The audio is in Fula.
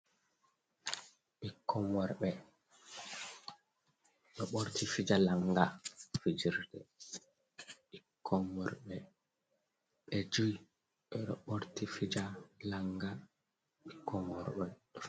Ɓikkon worɓe ɗo borti fija lannga. Fijirde ɓikkon worɓe ɓe joi ɗo borti fija lannga bikkon worɓe.